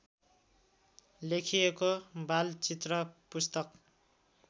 लेखिएको बालचित्र पुस्तक